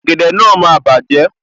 Ògèdè náà máa bàjẹ́